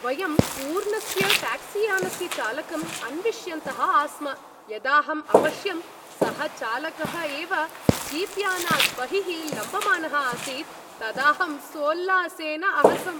वयं पूर्णस्य ट्याक्सीयानस्य चालकम् अन्विष्यन्तः आस्म, यदाहम् अपश्यं सः चालकः एव जीप्यानात् बहिः लम्बमानः आसीत् तदाहं सोल्लासेन अहसम्।